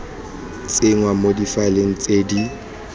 tsenngwa mo difaeleng tse di